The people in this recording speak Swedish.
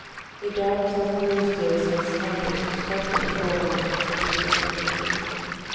Idag tar kommunstyrelsens arbetsutskott upp frågan om extra bidrag till föreningen.